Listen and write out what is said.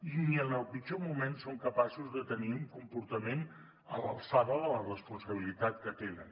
i ni en el pitjor moment són capaços de tenir un comportament a l’alçada de la responsabilitat que tenen